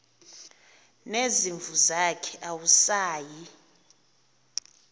nezimvu zakhe awusayi